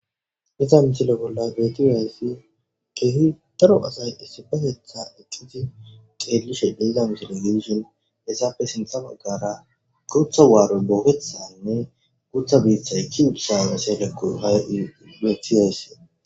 Hayssa misile bolla betiza issi keehi daro asay issipetetan eqqizi tseelishe diza misile giddishin he etappe sinta baggara gutta waaroy bookketidanne guutta biitta ekkidosona. Ha sohoyika ha'i bettes.